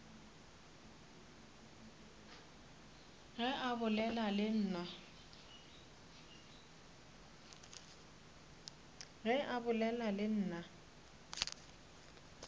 ge a bolela le nna